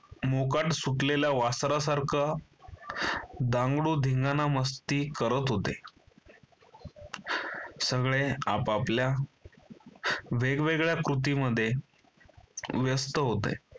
मोकाट सुटलेल्या वासरा सारखं धांगडूधिंगाणा मस्ती करत होते. सगळे आपापल्या वेगवेगळ्या कृती मध्ये व्यस्त होते.